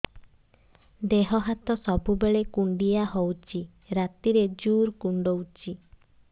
ଦେହ ହାତ ସବୁବେଳେ କୁଣ୍ଡିଆ ହଉଚି ରାତିରେ ଜୁର୍ କୁଣ୍ଡଉଚି